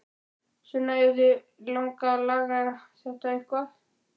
Sunna: En viljið þið laga þetta eitthvað?